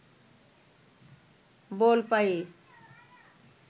বল পায়ে